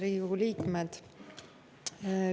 Head Riigikogu liikmed!